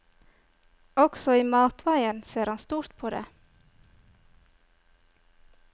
Også i matveien ser han stort på det.